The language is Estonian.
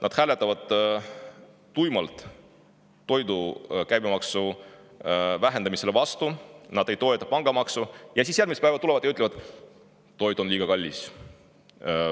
Nad hääletavad tuimalt toidu käibemaksu vähendamisele vastu, nad ei toeta pangamaksu, aga siis järgmisel päeval tulevad ja ütlevad: "Toit on liiga kallis.